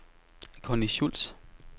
Connie Schulz